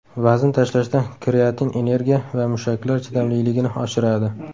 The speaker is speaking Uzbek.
Vazn tashlashda kreatin energiya va mushaklar chidamliligini oshiradi.